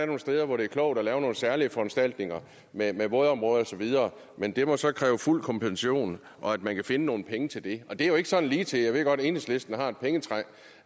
nogle steder hvor det er klogt at lave nogle særlige foranstaltninger med vådområder osv men det må så kræve fuld kompensation og at man kan finde nogle penge til det og det er jo ikke så ligetil jeg ved godt at enhedslisten har et pengetræ